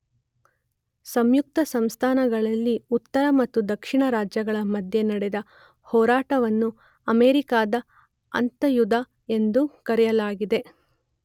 ಸಂಯುಕ್ತಸಂಸ್ಥಾನಗಳಲ್ಲಿ ಉತ್ತರ ಮತ್ತು ದಕ್ಷಿಣ ರಾಜ್ಯಗಳ ಮಧ್ಯೆ ನಡೆದ ಹೋರಾಟವನ್ನು ಅಮೆರಿಕದ ಅಂತರ್ಯುದ್ಧ ಎಂದು ಕರೆಯಲಾಗಿದೆ.